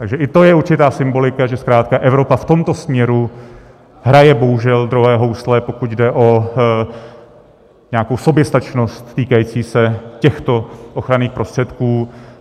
Takže i to je určitá symbolika, že zkrátka Evropa v tomto směru hraje bohužel druhé housle, pokud jde o nějakou soběstačnost týkající se těchto ochranných prostředků.